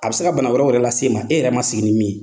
A bɛ se ka bana wɛrɛw yɛrɛ la s'e ma, e yɛrɛ ma sigi ni min ye.